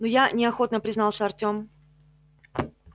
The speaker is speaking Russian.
ну я неохотно признался артём